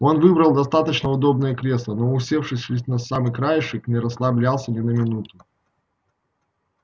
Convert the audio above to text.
он выбрал достаточно удобное кресло но усевшись лишь на самый краешек не расслаблялся ни на минуту